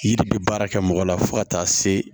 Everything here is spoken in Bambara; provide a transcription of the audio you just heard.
Yiri bɛ baara kɛ mɔgɔ la fo ka taa se